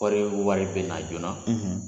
Wari o wari bɛ na joona,